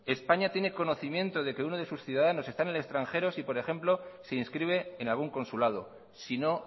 españa tiene conocimiento de que uno de sus ciudadanos está en el extranjero si por ejemplo se inscribe en algún consulado sino